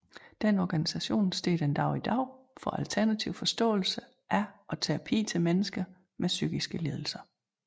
Den organisation står stadig den dag i dag for alternativ forståelse af og terapi til mennesker med psykiske lidelser